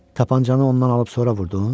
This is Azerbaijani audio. Tapançanı ondan alıb sonra vurdun?